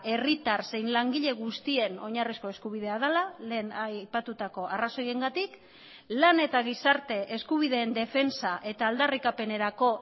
herritar zein langile guztien oinarrizko eskubidea dela lehen aipatutako arrazoiengatik lan eta gizarte eskubideen defentsa eta aldarrikapenerako